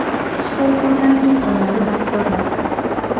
Shifokorlarning qo‘llari dard ko‘rmasin.